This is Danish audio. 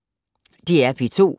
DR P2